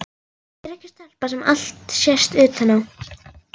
Ég er ekki stelpa sem allt sést utan á.